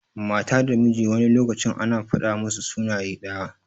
Mata da miji wani lokacin ana fada musu suna daya.